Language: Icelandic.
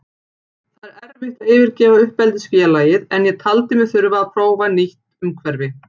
Það er erfitt að yfirgefa uppeldisfélagið en ég taldi mig þurfa að prófa nýtt umhverfi.